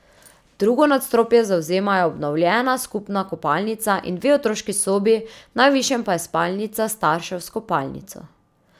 Drugo nadstropje zavzemajo obnovljena skupna kopalnica in dve otroški sobi, v najvišjem pa je spalnica staršev s kopalnico.